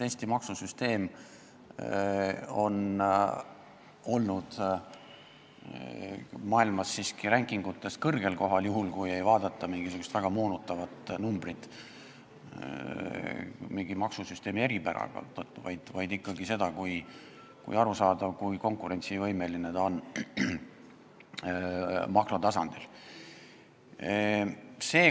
Eesti maksusüsteem on olnud maailmas siiski ranking'utes kõrgel kohal, juhul kui ei vaadata mingisugust väga moonutavat numbrit, mis väljendab mingit maksusüsteemi eripära, vaid ikkagi seda, kui arusaadav, kui konkurentsivõimeline on see süsteem makrotasandil.